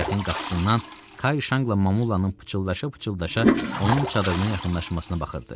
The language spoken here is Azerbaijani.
Mətbəxin qapısından Kay Şanqla Mamulanın pıçıltılaşa-pıçıltılaşa onun çadırına yaxınlaşmasına baxırdı.